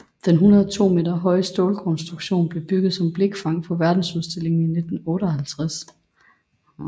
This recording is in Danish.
Den 102 meter høje stålkonstruktion blev bygget som blikfang for Verdensudstillingen i 1958